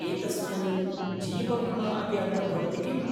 एतस्मिन् जीवविमा अपि अन्तर्भवति किम्?